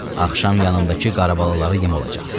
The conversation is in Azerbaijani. Axşam yanımdakı qarabəlalara yem olacaqsan.